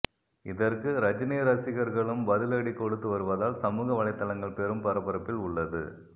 இதற்கு ரஜினி ரசிகர்களும் பதிலடி கொடுத்து வருவதால் சமூக வலைத்தளங்கள் பெரும் பரபரப்பில் உள்ளது